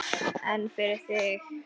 En fyrir þig?